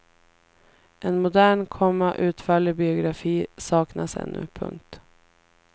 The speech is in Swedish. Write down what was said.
En modern, komma utförlig biografi saknas ännu. punkt